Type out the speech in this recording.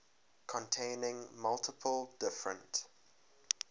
containing multiple different